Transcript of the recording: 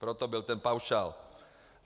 Proto byl ten paušál.